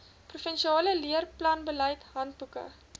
provinsiale leerplanbeleid handboeke